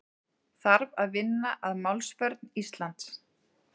Þarf að vinna að málsvörn Íslands